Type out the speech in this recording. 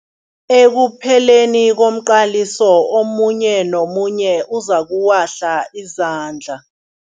Ekupheleni komqaliso omunye nomunye uzokuwahla izandla.